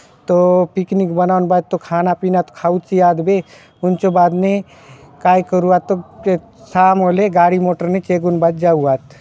तो पिकनिक बनाउन भांति तो खाना पीना तो खाऊ ची आद बे हुन्चो बाद ने काय करूआत शाम होलो ने गाड़ी मोटर ने चेगुन भांति जाउआत --